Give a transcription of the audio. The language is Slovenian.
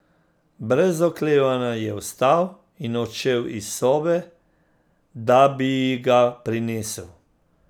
Brez oklevanja je vstal in odšel iz sobe, da bi ji ga prinesel.